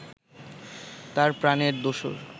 তাঁর প্রাণের দোসর